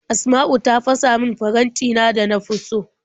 Asma'u ta fasa min farantina da na fi so.